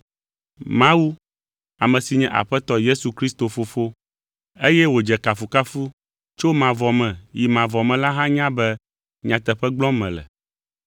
Mawu, ame si nye Aƒetɔ Yesu Kristo Fofo, eye wòdze kafukafu tso mavɔ me yi mavɔ me la hã nya be nyateƒe gblɔm mele.